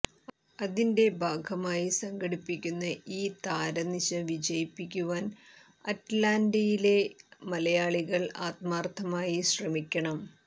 അതിന്റെ ഭാഗമായി സംഘടിപ്പിക്കുന്ന ഈ താര നിശ വിജയിപ്പിക്കുവാൻ അറ്റലാന്റയിലെ മലയാളികൾ ആത്മാർഥമായി ശ്രമിക്കണം